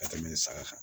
Ka tɛmɛ saga kan